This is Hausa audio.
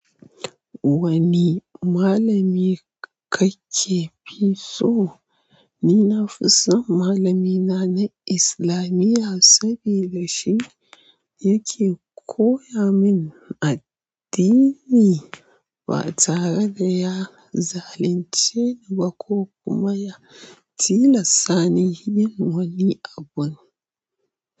Wani malami ka ke fi so? Ni nafison malamina na islamiyya sabidashi yake koyamun addini ba tare da ya zalunce ni ba ko kuma ya tilasta ni yin wani abu.